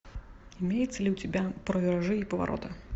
имеется ли у тебя про виражи и повороты